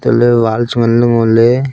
telu wal chu ngan le ngo le.